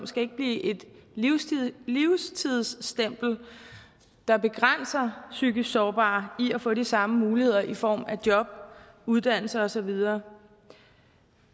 skal blive et livstidsstempel der begrænser psykisk sårbare i at få de samme muligheder i form af job uddannelse og så videre